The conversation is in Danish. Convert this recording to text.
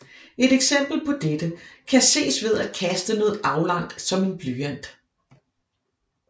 Et eksempel på dette kan ses ved at kaste noget aflangt som en blyant